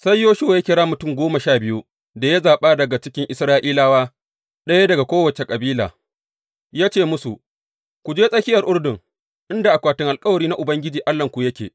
Sai Yoshuwa ya kira mutum goma sha biyu da ya zaɓa daga cikin Isra’ilawa, ɗaya daga kowace kabila ya ce musu, Ku je tsakiyar Urdun inda akwatin alkawari na Ubangiji Allahnku yake.